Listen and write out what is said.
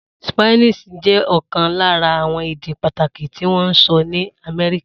Spanish jẹ́ ọ̀kan lára àwọn èdè pàtàkì tí wọ́n ń sọ ní Amẹ́ríkà.